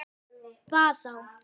Bað þá